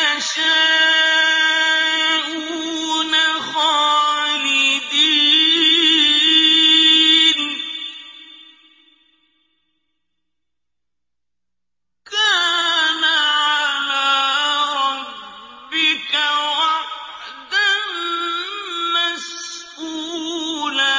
يَشَاءُونَ خَالِدِينَ ۚ كَانَ عَلَىٰ رَبِّكَ وَعْدًا مَّسْئُولًا